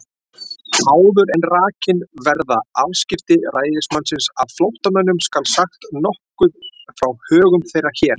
Áður en rakin verða afskipti ræðismannsins af flóttamönnum, skal sagt nokkuð frá högum þeirra hér.